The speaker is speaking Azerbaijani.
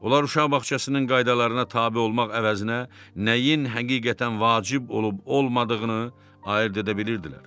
Onlar uşaq bağçasının qaydalarına tabe olmaq əvəzinə, nəyin həqiqətən vacib olub olmadığını ayırd edə bilirdilər.